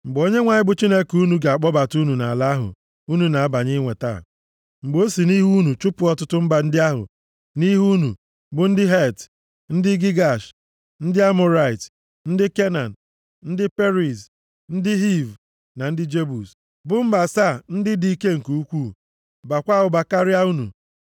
Mgbe Onyenwe anyị bụ Chineke unu ga-akpọbata unu nʼala ahụ unu na-abanye inweta, mgbe o si nʼihu unu chụpụ ọtụtụ mba ndị a nʼihu unu, bụ ndị Het, ndị Gigash, ndị Amọrait, ndị Kenan, ndị Periz, ndị Hiv na ndị Jebus, bụ mba asaa ndị dị ike nke ukwuu, baakwa ụba karịa unu;